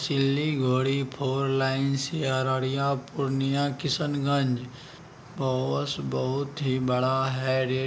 Siliguri four lane से अररिया पूर्णियां किशनगंज बस बहुत बड़ा है रे---